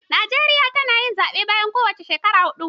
Najeriya tana yin zaɓe bayan kowance shekaru huɗu